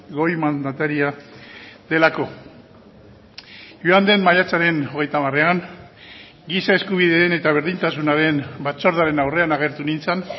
goi mandataria delako joan den maiatzaren hogeita hamarean giza eskubideen eta berdintasunaren batzordearen aurrean agertu nintzen